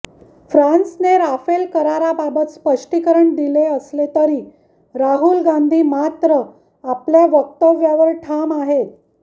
फ्रान्सने राफेल कराराबाबत स्पष्टीकरण दिले असले तरी राहुल गांधी मात्र आपल्या वक्तव्यावर ठाम आहेत